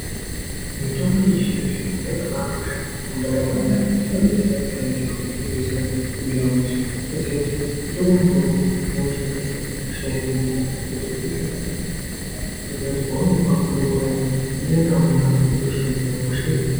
Mutombo yechizvino zvino yakabakosha mundaramo dzaantu ngekuti inodetsera payani zviro pazvinenge zvisina kumira mushe kutoziya kuti kutore mutombo woushandisa hosha yohinika zvoite zviro zvakanaka kutoziya kuti paunopuwa mutombo uyani unoenda nawo kumhatso hosha yotohini.